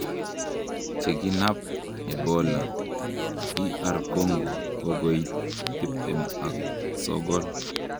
Chekinap Ebola Dr Congo kokoit 29